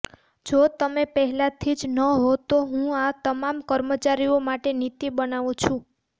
જો તમે પહેલાથી જ ન હોવ તો હું આ તમામ કર્મચારીઓ માટે નીતિ બનાવું છું